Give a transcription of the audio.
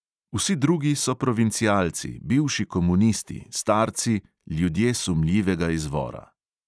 Vsi drugi so provincialci, bivši komunisti, starci, ljudje sumljivega izvora.